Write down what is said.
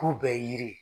K'u bɛɛ ye yiri ye